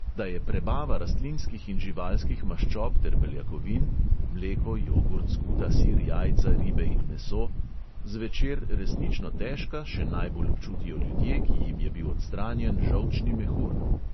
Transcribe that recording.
Da je prebava rastlinskih in živalskih maščob ter beljakovin (mleko, jogurt, skuta, sir, jajca, ribe in meso) zvečer resnično težka, še najbolj občutijo ljudje, ki jim je bil odstranjen žolčni mehur.